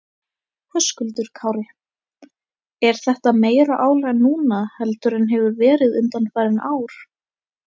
Höskuldur Kári: Er þetta meira álag núna heldur en hefur verið undanfarin ár?